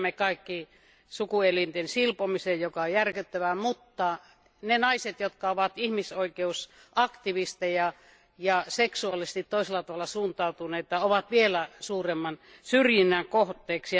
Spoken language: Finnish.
Me tiedämme kaikki sukuelinten silpomisen, joka on järkyttävää, mutta ne naiset, jotka ovat ihmisoikeusaktivisteja ja seksuaalisesti toisella tavalla suuntautuneita ovat vielä suuremman syrjinnän kohteena.